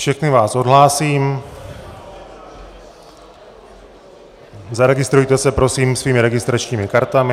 Všechny vás odhlásím, zaregistrujte se prosím svými registračními kartami.